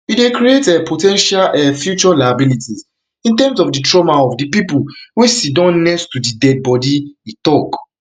you dey create um po ten tial um future liabilities in terms in terms of di trauma of di people wey siddon next to di deadibody e tok